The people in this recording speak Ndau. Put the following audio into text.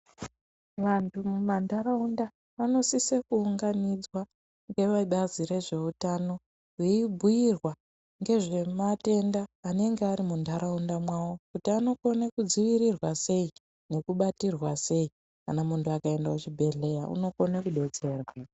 Vantu mumantaraunda vanosise kuunganidzwa ngevebazi rezveutano veibhuirwa ngezvematenda anenge ari muntaraunda mwawo kuti anokone kudzivirirwa sei nekubatirwa sei kana muntu akaende kuchibhedhleya unokona kudetserwa.